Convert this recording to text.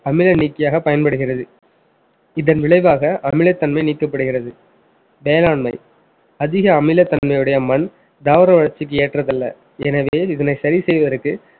அமில நீக்கியாக பயன்படுகிறது இதன் விளைவாக அமிலத்தன்மை நீக்கப்படுகிறது வேளாண்மை அதிக அமிலத்தன்மையுடைய மண் தாவர வளர்ச்சிக்கு ஏற்றது இல்லை எனவே இதனை சரி செய்வதற்கு